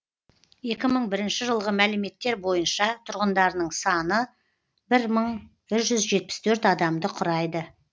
екі мың бірінші жылғы мәліметтер бойынша тұрғындарының саны бір мың жетпіс төрт адамды құрайды